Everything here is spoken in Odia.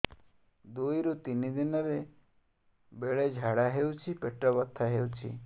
ଦୁଇରୁ ତିନି ଦିନରେ ବେଳେ ଝାଡ଼ା ହେଉଛି ପେଟ ବଥା ହେଉଛି